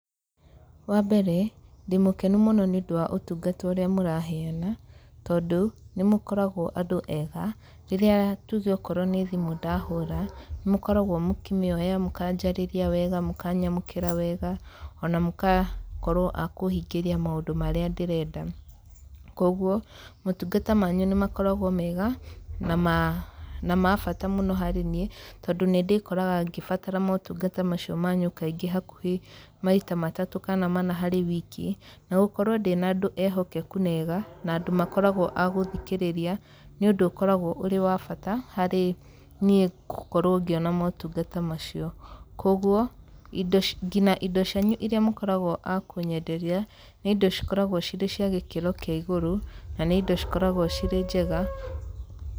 Wa mbere, ndĩ mũkenu mũno nĩ ũndũ wa ũtungata ũrĩa mũraheana, tondũ, nĩ mũkoragwo andũ ega. Rĩrĩa tuge okorwo nĩ thimũ ndahũra, nĩ mũkoragwo mũkĩmĩoya, mũkanjarĩria wega, mũkanyamũkĩra wega, ona mũkakorwo a kũhingĩria maũndũ marĩa ndĩrenda. Kũguo, motungata manyu nĩ makoragwo mega, na ma na ma bata mũno harĩ niĩ, tondũ nĩ ndĩkoraga ngĩbatara motungata macio manyu kaingĩ hakuhĩ maita matatũ kana mana harĩ wiki. Na gũkorwo ndĩna andũ ehokeku na eega, na andũ makoragwo a gũthikĩrĩria, nĩ ũndũ ũkoragwo ũrĩ wa bata, harĩ niĩ gũkorwo ngĩona motungata macio. Kũguo, indo ngina indo cianyu irĩa mũkoragwo a kũnyenderia, nĩ indo cikoragwo cirĩ cia gĩkĩro kĩa igũrũ, na nĩ indo cikoragwo cirĩ njega.